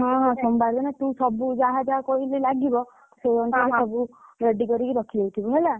ହଁ ହଁ, ସୋମବାର ଦିନ ତୁ ସବୁ ଯାହା ଯାହା କହିଲି ଲାଗିବ, ସେଇ ଅନୁସାରେ ସବୁ, ready କରିକି ରଖିଦେଇଥିବୁ ହେଲା।